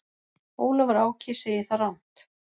Ólafur Áki segir það rangt.